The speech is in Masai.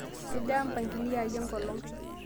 kejaa mpangilio aai enkolong